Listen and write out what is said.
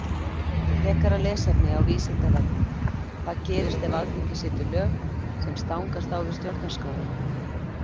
Frekara lesefni á Vísindavefnum Hvað gerist ef Alþingi setur lög sem stangast á við Stjórnarskrána?